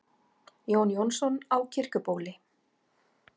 Jón Jónsson á Kirkjubóli